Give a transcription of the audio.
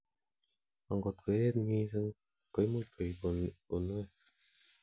angot koyeet missing, koimuch koib uinwek